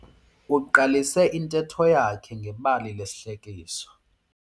Uqalise intetho yakhe ngebali lesihlekiso.